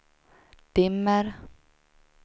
dimmer